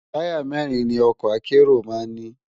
Tàyá mèrin ni òkò àkéró má n ni